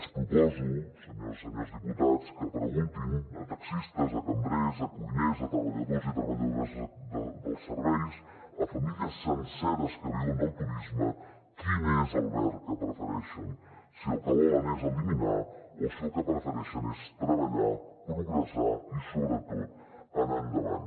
els proposo senyores i senyors diputats que preguntin a taxistes a cambrers a cuiners a treballadors i treballadores dels serveis a famílies senceres que viuen del turisme quin és el verb que prefereixen si el que volen és eliminar o si el que prefereixen és treballar progressar i sobretot anar endavant